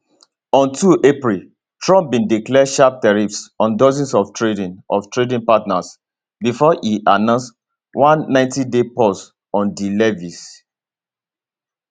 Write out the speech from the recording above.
on 2 april trump bin declare sharp tariffs on dozens of trading of trading partners bifor e announce one 90day pause on di levies